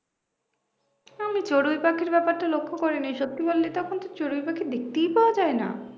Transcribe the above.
আমি চড়ুই পাখির ব্যাপারটা লক্ষ্য করিনি সত্যি বললি তো এখন চড়ুই পাখি দেখতেই পাওয়া যায় না